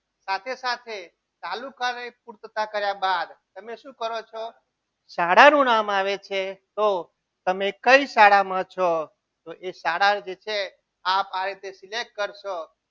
સાથે સાથે તાલુકાના સ્પષ્ટતા કર્યા બાદ તમે શું કરો છો શાળાનું નામ આવે છે તો તમે કઈ શાળામાં છો તો એ શાળા જે છે. આ રીતે select કરશો.